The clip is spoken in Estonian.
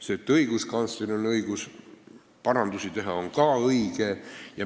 See, et õiguskantsleril on õigus parandusi teha, on ka õige.